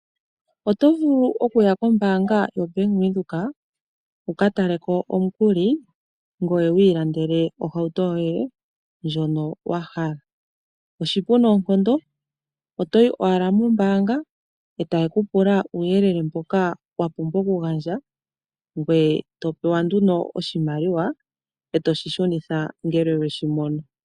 Oto vulu okuya kombanga yoBank Windhoek wu ka taleko omukuli ngoye wiilandele ohauto yoye ndjono wa hala oshipu noonkondo otoyi owala mombaanga e taye ku pula uuyelele mboka wa pumbwa okugandja ngoye e to pewa nduno oshimaliwa e toshi shunitha ngele weshi mono.